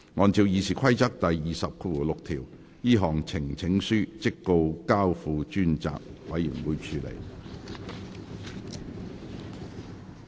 按照《議事規則》第206條，這項呈請書即告交付專責委員會處理。